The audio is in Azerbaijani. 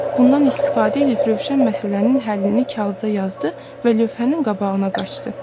Bundan istifadə eləyib Rövşən məsələnin həllini kağıza yazdı və lövhənin qabağına qaçdı.